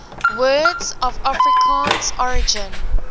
words of afrikaans origin